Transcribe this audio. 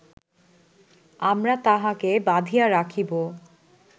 আমরা তাঁহাকে বাঁধিয়া রাখিব